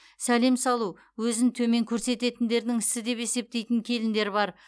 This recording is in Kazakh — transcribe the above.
сәлем салу өзін төмен көрсететіндердің ісі деп есептейтін келіндер бар